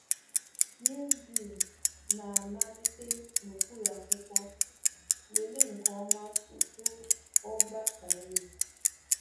Mildew na-amalite n’okpuru akwụkwọ, lelee nke ọma tupu o gbasaa elu